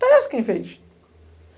Aparece quem fez.